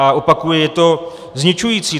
A opakuji, je to zničující!